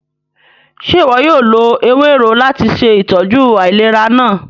Ṣe iwọ yóò lo ewero lati ṣe itọju ailera naa?